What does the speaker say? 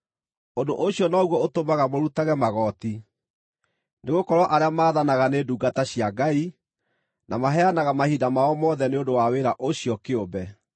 Ũndũ ũcio noguo ũtũmaga mũrutage magooti, nĩgũkorwo arĩa maathanaga nĩ ndungata cia Ngai, na maheanaga mahinda mao mothe nĩ ũndũ wa wĩra ũcio kĩũmbe.